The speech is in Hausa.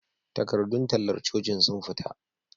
Takardun tallar cocin sun fita